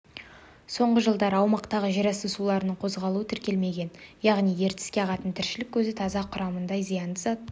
соңғы жылдары аумақтағы жерасты суларының қозғалуы тіркелмеген яғни ертіске ағатын тіршілік көзі таза құрамында зиянды зат